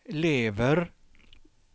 lever